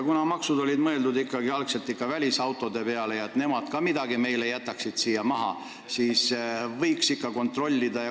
Kuna maksud olid mõeldud algselt välisautodele, et nemad jätaksid meile siia midagi maha, siis võiks ikka neid kontrollida.